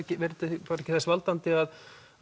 verður þetta ekki þess valdandi að